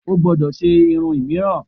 O gbúdọ̀ ṣe irun míìràn!